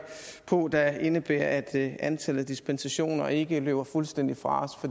på der indebærer at antallet af dispensationer ikke løber fuldstændig fra